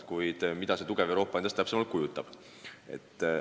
Kuid mida see tugev Euroopa endast täpsemalt kujutab?